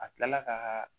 A kilala ka